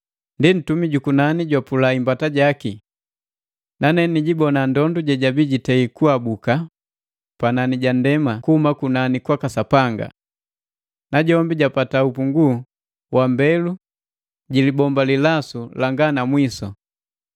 Ndi ntumi ju kunani jwapula imbata jaki. Nane ni jibona ndondu jejabii jitei kuabuka panani ja ndema kuhuma kunani kwaka Sapanga. Najombi japata upungu wa mbelu jilibomba lilasu langa na mwisu.